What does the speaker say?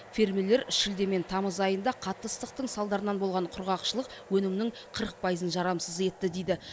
фермерлер шілде мен тамыз айында қатты ыстықтың салдарынан болған құрғақшылық өнімнің қырық пайызын жарамсыз етті дейді